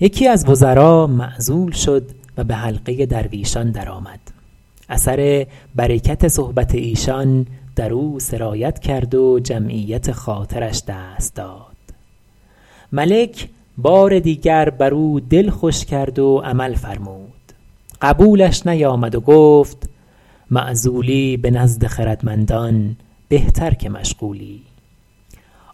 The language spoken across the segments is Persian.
یکی از وزرا معزول شد و به حلقه درویشان درآمد اثر برکت صحبت ایشان در او سرایت کرد و جمعیت خاطرش دست داد ملک بار دیگر بر او دل خوش کرد و عمل فرمود قبولش نیامد و گفت معزولی به نزد خردمندان بهتر که مشغولی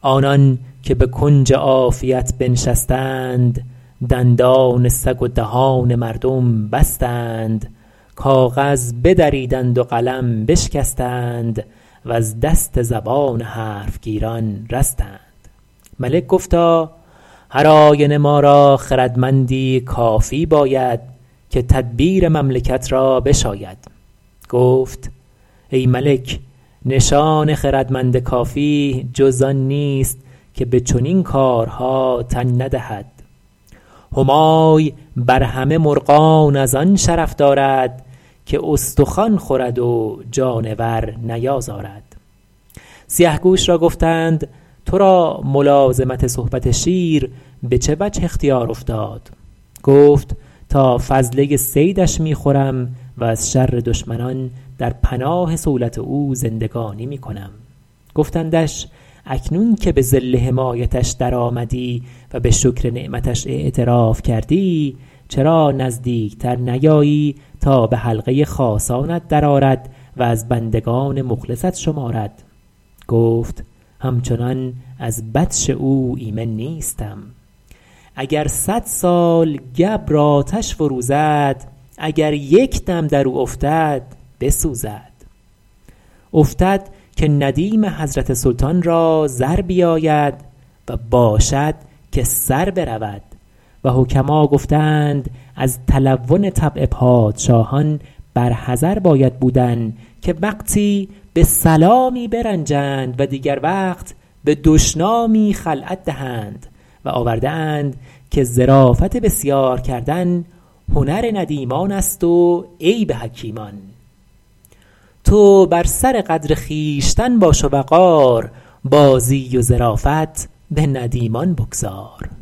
آنان که به کنج عافیت بنشستند دندان سگ و دهان مردم بستند کاغذ بدریدند و قلم بشکستند وز دست زبان حرف گیران رستند ملک گفتا هر آینه ما را خردمندی کافی باید که تدبیر مملکت را بشاید گفت ای ملک نشان خردمند کافی جز آن نیست که به چنین کارها تن ندهد همای بر همه مرغان از آن شرف دارد که استخوان خورد و جانور نیازارد سیه گوش را گفتند تو را ملازمت صحبت شیر به چه وجه اختیار افتاد گفت تا فضله صیدش می خورم و ز شر دشمنان در پناه صولت او زندگانی می کنم گفتندش اکنون که به ظل حمایتش در آمدی و به شکر نعمتش اعتراف کردی چرا نزدیک تر نیایی تا به حلقه خاصانت در آرد و از بندگان مخلصت شمارد گفت همچنان از بطش او ایمن نیستم اگر صد سال گبر آتش فروزد اگر یک دم در او افتد بسوزد افتد که ندیم حضرت سلطان را زر بیاید و باشد که سر برود و حکما گفته اند از تلون طبع پادشاهان بر حذر باید بودن که وقتی به سلامی برنجند و دیگر وقت به دشنامی خلعت دهند و آورده اند که ظرافت بسیار کردن هنر ندیمان است و عیب حکیمان تو بر سر قدر خویشتن باش و وقار بازی و ظرافت به ندیمان بگذار